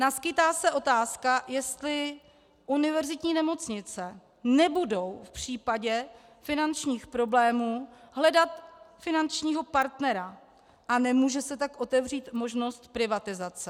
Naskýtá se otázka, jestli univerzitní nemocnice nebudou v případě finančních problémů hledat finančního partnera, a nemůže se tak otevřít možnost privatizace.